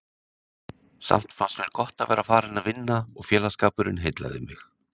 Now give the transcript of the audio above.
Samt fannst mér gott að vera farin að vinna og félagsskapurinn heillaði mig.